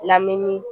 Lamini